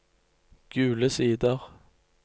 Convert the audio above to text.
Gule Sider